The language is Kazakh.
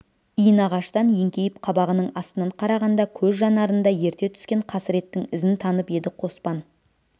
иінағаштан еңкейіп қабағының астынан қарағанда көз жанарында ерте түскен қасіреттің ізін танып еді қоспан